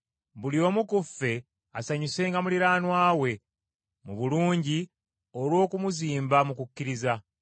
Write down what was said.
Buli omu ku ffe asanyusenga muliraanwa we mu bulungi olw’okumuzimba mu kukkiriza.